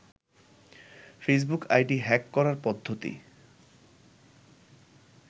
Facebook ID hack করার পদ্ধতি